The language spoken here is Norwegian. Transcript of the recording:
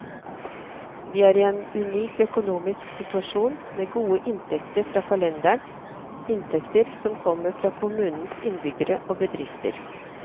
Vi er i en unik økonomisk situasjon, med gode inntekter fra kalenderen, inntekter som kommer fra kommunens innbyggere og bedrifter.